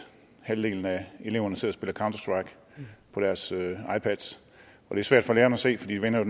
halvdelen af eleverne sidder og spiller counter strike på deres ipads det er svært for lærerne at se for de vender jo